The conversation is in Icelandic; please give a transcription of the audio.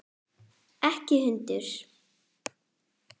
Ekki hund!